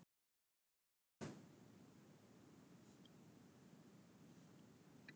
Vagn, bókaðu hring í golf á laugardaginn.